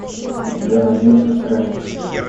у тебя найдется странник